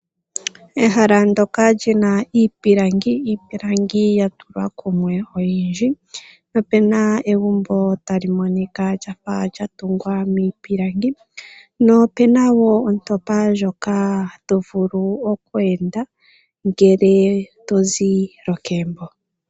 Ehala ndyoka lyina iipilangi yatulwa kumwe oyindji, po opuna egumbo ta li monika lyafa lyatungwa miipilangi, po opu na woo ontopa ndjoka tovulu oku enda ngele tozi lokegumbo.